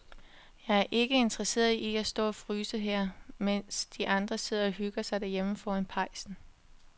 Jeg er ikke særlig interesseret i at stå og fryse her, mens de andre sidder og hygger sig derhjemme foran pejsen.